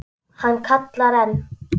Hann kallar enn.